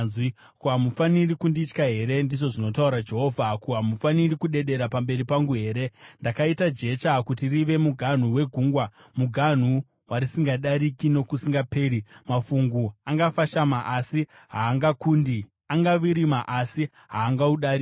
Ko, hamufaniri kunditya here?” ndizvo zvinotaura Jehovha. “Ko, hamufaniri kudedera pamberi pangu here? Ndakaita jecha kuti rive muganhu wegungwa, muganhu warisingadariki nokusingaperi. Mafungu angafashama, asi haangakundi; angavirima asi haangaudariki.